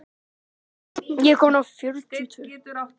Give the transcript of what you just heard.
Gestur var Guðmundur Steinarsson.